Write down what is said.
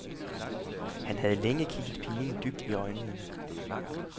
Han havde længe kigget pigen dybt i øjnene.